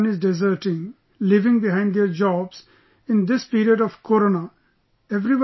Because everyone is deserting, leaving behind their jobs in this period of corona